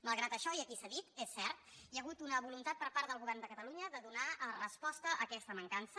malgrat això i aquí s’ha dit és cert hi ha hagut una voluntat per part del govern de catalunya de donar resposta a aquesta mancança